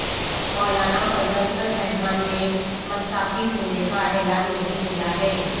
مولانا فضل الرحمان نے مستعفی ہونے کا اعلان نہیں کیا ہے